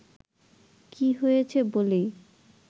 কী হয়েছে বলেই